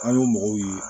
An y'o mɔgɔw ye